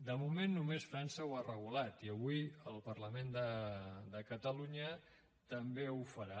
de moment només frança ho ha regulat i avui el parlament de catalunya també ho farà